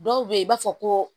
Dɔw bɛ yen i b'a fɔ ko